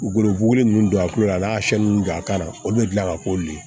Golo bugubugu ninnu don a kulo la a n'a don a kan na olu bɛ tila ka ko le ye